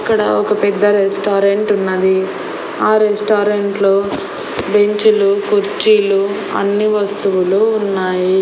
ఇక్కడ ఒక పెద్ద రెస్టారెంట్ ఉన్నది ఆ రెస్టారెంట్లో బెంచ్ లు కుర్చీలు అన్ని వస్తువులు ఉన్నాయి.